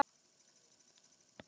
Þau ætluðu að vera í viku.